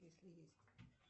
если есть